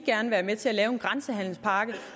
gerne være med til at lave en grænsehandelpakke